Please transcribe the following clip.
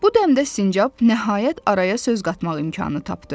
Bu dəmdə sincab nəhayət araya söz qatmaq imkanı tapdı.